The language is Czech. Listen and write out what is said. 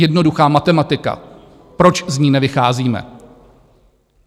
Jednoduchá matematika, proč z ní nevycházíme?